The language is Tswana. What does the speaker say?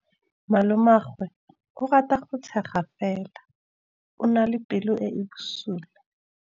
Malomagwe o rata go tshega fela o na le pelo e e bosula.